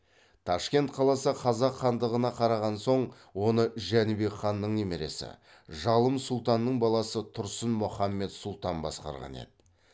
ташкент қаласы қазақ хандығына қараған соң оны жәнібек ханның немересі жалым сұлтанның баласы тұрсын мұхаммед сұлтан басқарған еді